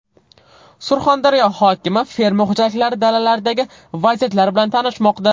Surxondaryo hokimi fermer xo‘jaliklari dalalaridagi vaziyatlar bilan tanishmoqda.